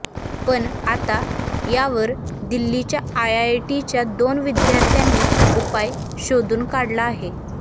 पण आता यावर दिल्लीच्या आयआयटीच्या दोन विद्यार्थ्यांनी उपाय शोधून काढला आहे